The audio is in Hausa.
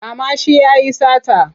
Kama shi ya yi sata!